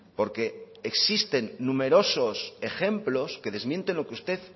porque existen numerosos ejemplos que desmienten lo que usted